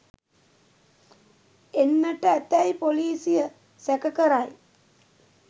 එන්නට ඇතැයි පොලිසිය සැක කරයි